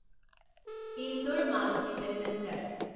Indore Maksi passenger